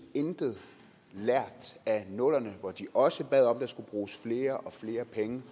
intet lært af nullerne hvor de også bad om at der skulle bruges flere og flere penge